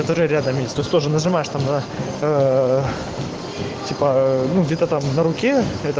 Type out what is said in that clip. который рядом тоже нажимаешь там да типа ну где-то там на руке